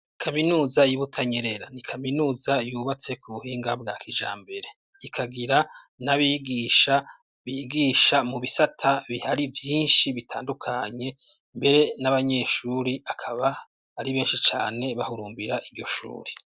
Kaminuza y'i Butanyerera, ni kaminuza yubatse ku buhinga bwa kijambere, ikagira n'abigisha bigisha mu bisata bihari vyinshi bitandukanye; mbere n'abanyeshuri akaba ari benshi cane bahurumbira iryo shuri.